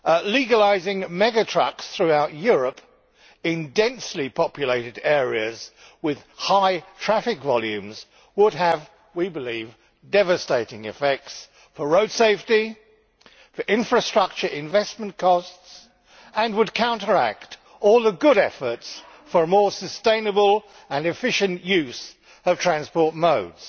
Legalising mega trucks throughout Europe in densely populated areas with high traffic volumes would have, we believe, devastating effects for road safety and for infrastructure investment costs and would counteract all the good efforts for a more sustainable and efficient use of transport modes.